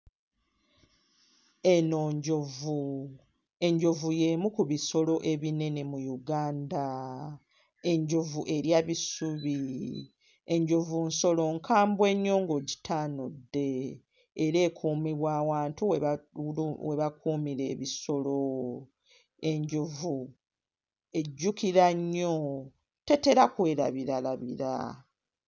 Eno njovu, enjovu y'emu ku bisolo ennene mu Uganda, enjovu erya bisubi, enjovu nsolo nkambwe nnyo ng'ogitaanudde era ekuumibwa awantu we bakuumira ebisolo, enjovu ejjukira nnyo tetera kwerabiralabira.